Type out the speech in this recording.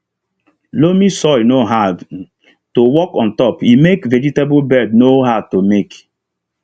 loamy soil no hard um to work ontop e make vegetable bed no um hard to make